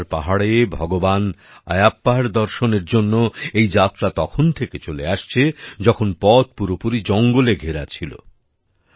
শবরীমালার পাহাড়ে ভগবান আয়াপ্পার দর্শনের জন্য এই যাত্রা তখন থেকে চলে আসছে যখন পথ পুরোপুরি জঙ্গলে ঘেরা ছিল